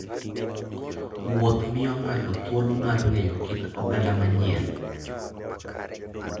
Wuoth miyo ng'ato thuolo mar ng'eyo kit oganda manyien.